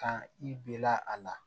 Kan i bena a la